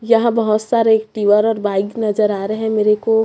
यहां बहोत सारे एक्टिवा और बाइक नजर आ रहे हैं मेरे को।